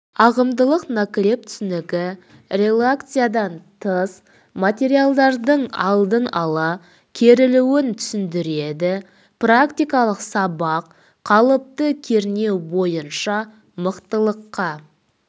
ағымдылық наклеп түсінігі релаксациядан тыс материалдың алдын ала керілуін түсіндіреді практикалық сабақ қалыпты кернеу бойынша мықтылыққа